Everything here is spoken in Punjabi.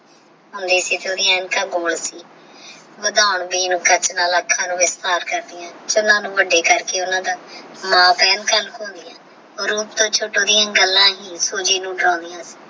ਓਹ੍ਨ੍ਦੀ ਅਣਖਾ ਗੋਲੇ ਸੀ ਵਾਦਾਂ ਗਯੀ ਸੀ ਆਖਣਾ ਸ਼੍ਨ੍ਨਾ ਨੂ ਵੱਡਾ ਕਰਕੇ ਮਾਂ ਪੈਣ ਕੋਲ ਉੱਤੋ ਦਿਯਾ ਗੱਲਾਂ